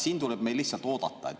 Siin tuleb meil lihtsalt oodata.